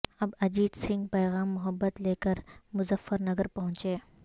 اب اجیت سنگھ پیغام محبت لے کر مظفر نگر پہنچے